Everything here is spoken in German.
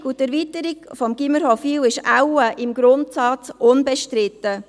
Die Sanierung und Erweiterung des Gymnasiums Hofwil ist im Grundsatz wohl unbestritten.